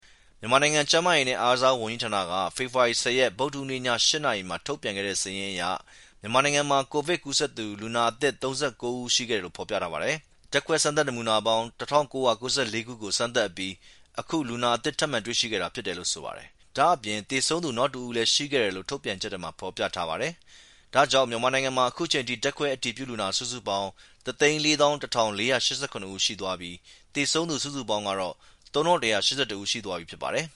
မြန်မာနိုင်ငံ ကျန်းမာရေးနဲ့ အားကစားဝန်ကြီးဌာနက ဖေဖော်ဝါရီ ၁၀ ရက်၊ ဗုဒ္ဓဟူးနေ့ ည ၈ နာရီမှာ ထုတ်ပြန်တဲ့ စာရင်းအရ မြန်မာနိုင်ငံမှာ ကိုဗစ် ကူးစက်သူ လူနာအသစ် ၃၉ ဦး ရှိခဲ့တယ်လို့ ဖော်ပြထားပါတယ်။ ဓါတ်ခွဲစမ်းသပ်မှုနမူနာပေါင်း ၁,၉၉၄ ခုကို စမ်းသပ်အပြီး အခု လူနာသစ်တွေ ထပ်မံတွေ့ရှိခဲ့တာ ဖြစ်တယ်လို့ ဆိုပါတယ်။ ဒါ့အပြင် သေဆုံးသူ နောက်တဦးလည်း ၁ ဦး ရှိခဲ့တယ်လို့ ထုတ်ပြန်ချက်မှာ ဖော်ပြထားပါတယ်။ ဒါကြောင့် မြန်မာနိုင်ငံမှာ အခုချိန်ထိ ဓါတ်ခွဲအတည်ပြုလူနာ စုစုပေါင်း ၁၄၁,၄၈၇ ဦး ရှိသွားပြီဖြစ်ပြီး သေဆုံးသူ စုစုပေါင်းကတော့ ၃,၁၈၁ ဦး ရှိသွားပြီ ဖြစ်ပါတယ်